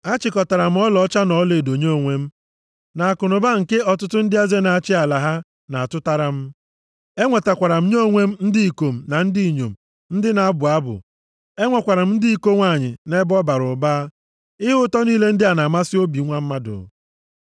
Achịkọtara m ọlaọcha na ọlaedo nye onwe m, na akụnụba nke ọtụtụ ndị eze na-achị ala ha na-atụtara m. E nwetakwara m nye onwe m ndị ikom na ndị inyom ndị na-abụ abụ. Enwekwara ndị iko nwanyị nʼebe ọ bara ụba. Ihe ụtọ niile ndị na-amasị obi nwa mmadụ.